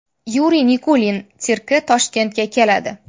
Yuriy Nikulin sirki Toshkentga keladi.